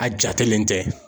A jatelen tɛ.